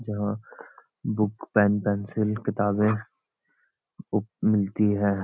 जहां book pen pencil किताबें book मिलती है।